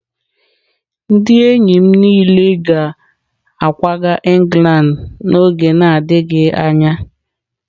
Ndị enyi m niile ga-akwaga England n'oge na-adịghị anya.